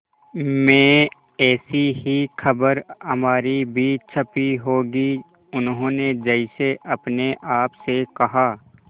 में ऐसी ही खबर हमारी भी छपी होगी उन्होंने जैसे अपने आप से कहा